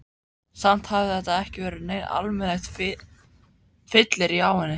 Samt hafði þetta ekki verið neitt almennilegt fyllirí á henni.